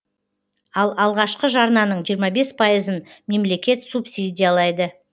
ал алғашқы жарнаның жиырма бес пайызын мемлекет субсидиялайды